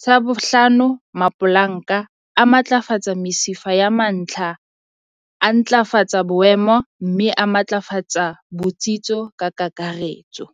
Tsa bohlano, mapolanka a matlafatsa mesifa ya mantlha, a ntlafatsa boemo mme a matlafatsa botsitso ka kakaretso.